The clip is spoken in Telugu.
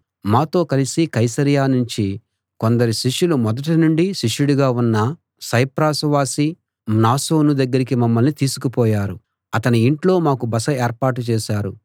మాతో కలిసి కైసరయ నుంచి కొందరు శిష్యులు మొదటి నుండి శిష్యుడుగా ఉన్న సైప్రసు వాసి మ్నాసోను దగ్గరికి మమ్మల్ని తీసుకుపోయారు అతని ఇంట్లో మాకు బస ఏర్పాటు చేశారు